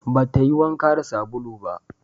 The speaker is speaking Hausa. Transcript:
Ba ta yi wanka da sabulu ba